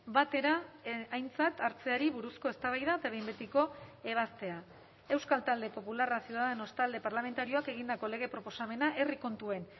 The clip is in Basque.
batera aintzat hartzeari buruzko eztabaida eta behin betiko ebazpena euskal talde popularra ciudadanos talde parlamentarioak egindako lege proposamena herri kontuen